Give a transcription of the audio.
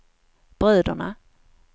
bröderna